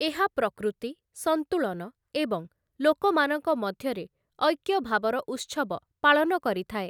ଏହା ପ୍ରକୃତି, ସନ୍ତୁଳନ ଏବଂ ଲୋକମାନଙ୍କ ମଧ୍ୟରେ ଐକ୍ୟଭାବର ଉତ୍ସବ ପାଳନ କରିଥାଏ ।